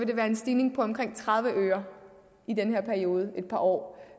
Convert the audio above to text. det være en stigning på omkring tredive øre i den her periode et par år